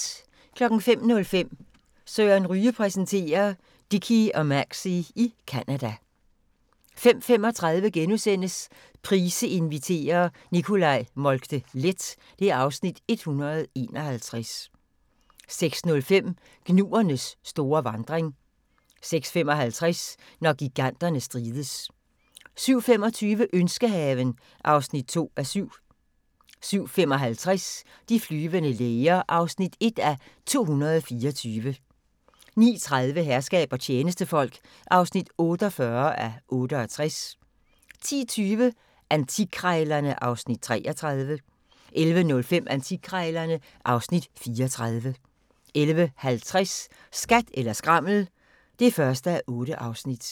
05:05: Søren Ryge præsenterer: Dickie og Maxie i Canada 05:35: Price inviterer - Nicolai Moltke-Leth (Afs. 151)* 06:05: Gnuernes store vandring 06:55: Når giganterne strides 07:25: Ønskehaven (2:7) 07:55: De flyvende læger (1:224) 09:30: Herskab og tjenestefolk (48:68) 10:20: Antikkrejlerne (Afs. 33) 11:05: Antikkrejlerne (Afs. 34) 11:50: Skat eller skrammel (1:8)